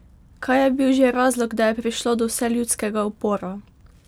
Kaj je bil že razlog, da je prišlo do vseljudskega upora?